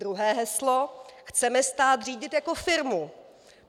Druhé heslo: Chceme stát řídit jako firmu.